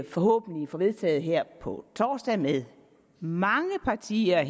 forhåbentlig får vedtaget her på torsdag med mange partier